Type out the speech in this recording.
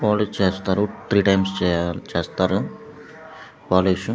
Polish చేస్తారు three times చేయాలి చేస్తారు పాలిష్.